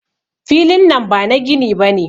Filin nan bana gini bane.